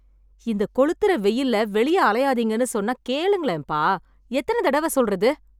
இந்த கொளுத்தற வெயில்ல வெளியே அலையாதீங்கன்னு சொன்னா கேளுங்களேப்பா... எத்தன தடவ சொல்றது?